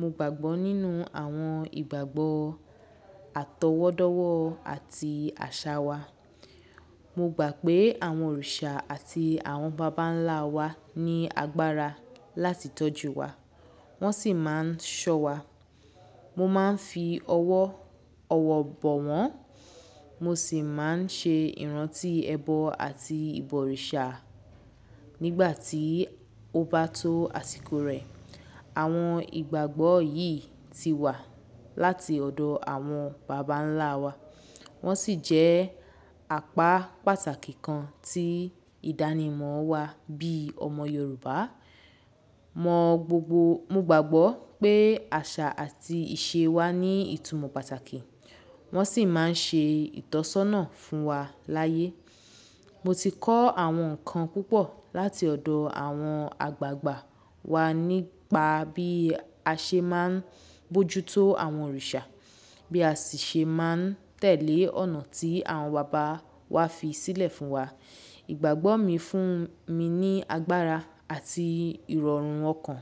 Mo gbàgbọ́ nínú àwọn ìgbàgbọ́, àtọwọ́dọ́wọ́ àti àṣà wa. Mo gbà pé àwọn òrìṣà àti àwọn bàbá ńlá wa ní agbára láti tọ́jú wa, wọ́n sì máa ń ṣọ́ wa. Mo máa ń fi ọwọ́ bọ wọ́n, mo sì máa ń ṣe ìrántí ẹbọ àti ìbọ̀rìṣà nígbà tí ó bá tó àsìkò rẹ̀. Àwọn ìgbàgbọ́ yìí ti wà láti ọ̀dọ̀ àwọn bàbá ńlá wa, wọ́n sì jẹ́ apá pàtàkì kan tí ìdánimọ̀ wa bí i ọmọ Yorùbá. Mo gbàgbọ́ pé àṣà àti ìṣe wa ní ìtumọ̀ pàtàkì, wọ́n sì máa ń ṣe ìtọ́sọ́nà fún wa láyé. Mo ti kọ́ àwọn nǹkan púpọ̀ láti ọ̀dọ̀ àwọn àgbàgbà wa nípa bí a ṣe máa ń bójú tó àwọn òrìṣà, bí a sì ṣe máa ń tẹ̀lé ọ̀nà tí àwọn bàbá wa fi sílẹ̀ fún wa. Ìgbàgbọ́ mi fún mi ní agbára àti ìrọ̀rùn ọkàn,